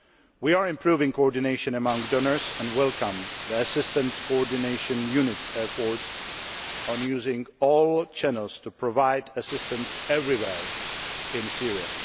We are improving coordination among donors and welcome the Assistance Coordination Unit's efforts as regards using all channels to provide assistance everywhere in Syria.